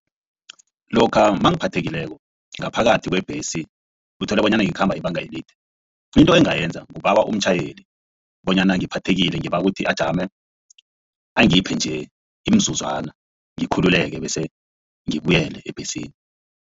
Lokha mangiphathekileyo ngaphakathi kwebhesi uthola bonyana ngikhamba ibanga elide into engayenza kubawa umtjhayeli bonyana ngiphathekile ngibawa ukuthi ajame angiphe nje imizuzwana ngikhululeke bese ngibuyele ebhesini.